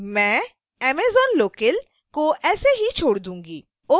मैं amazonlocale को ऐसे ही छोड़ दूंगी